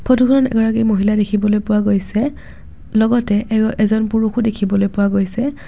ফটোখনত এগৰাকী মহিলা দেখিবলৈ পোৱা গৈছে লগতে এগ-এজন পুৰুষো দেখিবলৈ পোৱা গৈছে।